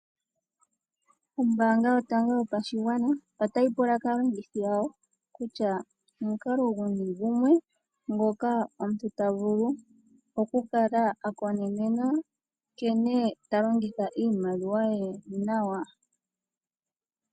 Ombaanga yotango yopashigwana otayi pula kaalongithi yawo kutya omukalo guni gumwe ngoka omuntu ta vulu okukala a konenenena nkene ta longitha iimaliwa ye nawa.